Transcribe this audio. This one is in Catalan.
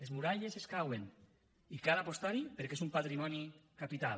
les muralles cauen i cal apostar hi perquè és un patrimoni capital